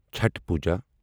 Chhath Puja